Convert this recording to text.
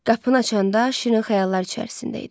Qapını açanda şirin xəyallar içərisində idi.